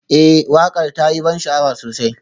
Ee waƙar ta yi ban sha'awa sosai